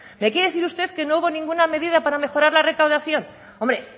me quiere decir usted que no hubo ninguna medida para mejorar la recaudación hombre